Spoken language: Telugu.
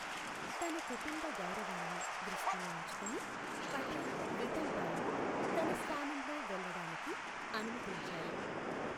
తన కుటుంబ గౌరవాన్ని దృష్టిలో ఉంచుకుని, పటేల్ విఠల్ భాయ్ను తన స్థానంలో వెళ్ళడానికి అనుమతించారు.